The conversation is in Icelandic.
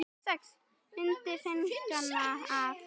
Myndir fengnar af